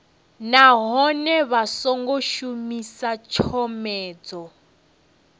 nahone vha songo shumisa tshomedzo